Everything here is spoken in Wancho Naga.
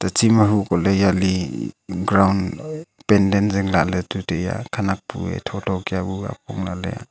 teche ma hukoh ley jale penden zinglah ley tu taiya khenek bue tho tho ka bu apong lah ley.